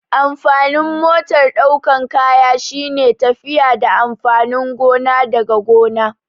Amfanin motar ɗaukan kaya shine tafiya da amfanin gona daga gona